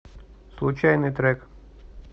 случайный трек